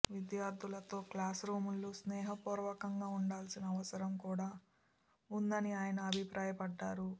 విద్యార్థులతో క్లాస్రూమ్లు స్నేహపూర్వకంగా ఉండాల్సిన అవసరం కూడా ఉందని ఆయన అభిప్రాయపడ్డారు